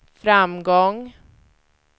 framgång